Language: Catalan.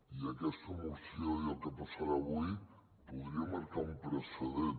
i aquesta moció i el que passarà avui podrien marcar un precedent